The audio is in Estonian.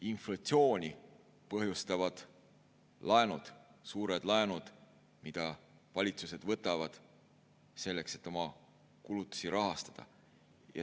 Inflatsiooni põhjustavad laenud, suured laenud, mida valitsused võtavad selleks, et oma kulutusi rahastada.